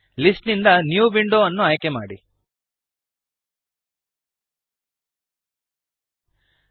list ನಿಂದ new window ವನ್ನು ಆಯ್ಕೆಮಾಡಿರಿ